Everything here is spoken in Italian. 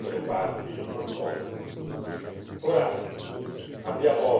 attraverso clausole equilibrate i diritti di tutte le parti coinvolte.